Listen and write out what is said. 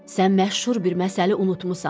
Sən məşhur bir məsəli unutmusan.